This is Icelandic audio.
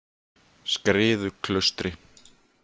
Skriðuklaustri